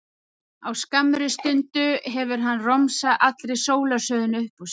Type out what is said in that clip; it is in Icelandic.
Á skammri stundu hefur hann romsað allri sólarsögunni upp úr sér.